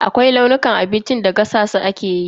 Akwai launukan abincin da gasa su ake yi.